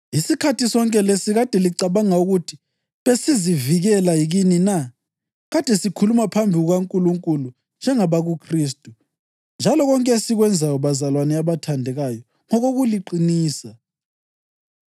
Isikhathi sonke lesi kade licabanga ukuthi besizivikela kini na? Kade sikhuluma phambi kukaNkulunkulu njengabakuKhristu; njalo konke esikwenzayo, bazalwane abathandekayo, ngokokuliqinisa.